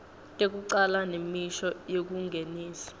tekucala nemisho yekungenisa